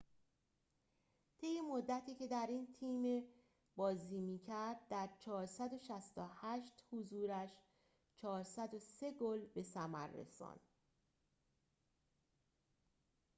طی مدتی که در این تیم بازی می‌کرد در ۴۶۸ حضورش ۴۰۳ گل به ثمر رساند